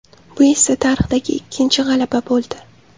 Bu esa tarixdagi ikkinchi g‘alaba bo‘ldi.